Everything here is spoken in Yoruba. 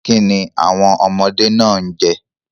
Kini awọn ọmọde naa n jẹ?